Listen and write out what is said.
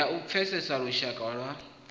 ya u pfesesa lushaka lwa